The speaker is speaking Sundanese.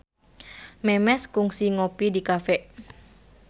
Memes kungsi ngopi di cafe